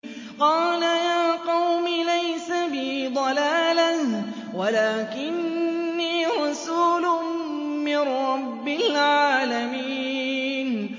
قَالَ يَا قَوْمِ لَيْسَ بِي ضَلَالَةٌ وَلَٰكِنِّي رَسُولٌ مِّن رَّبِّ الْعَالَمِينَ